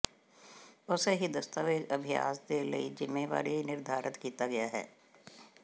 ਉਸੇ ਹੀ ਦਸਤਾਵੇਜ਼ ਅਭਿਆਸ ਦੇ ਲਈ ਜ਼ਿੰਮੇਵਾਰੀ ਨਿਰਧਾਰਤ ਕੀਤਾ ਗਿਆ ਹੈ